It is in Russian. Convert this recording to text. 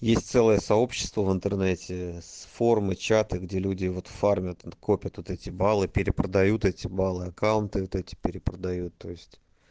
есть целое сообщество в интернете с формы чита где люди в форме копят вот эти баллы перепродают эти баллы аккаунты эти перепродают то есть